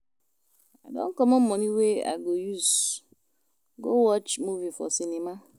I don comot moni wey I go use go watch movie for cinema.